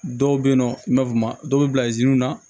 Dɔw bɛ yen nɔ n b'a fɔ ma dɔw bɛ bila na